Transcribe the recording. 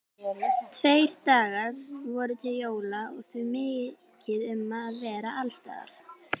Tveir dagar voru til jóla og því mikið um að vera alls staðar.